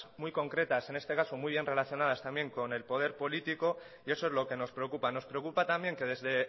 muy concretas en este caso muy bien relacionadas también con el poder político y eso es lo que nos preocupa nos preocupa también que desde